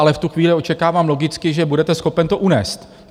Ale v tu chvíli očekávám logicky, že budete schopen to unést.